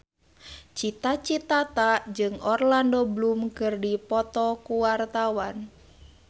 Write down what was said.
Cita Citata jeung Orlando Bloom keur dipoto ku wartawan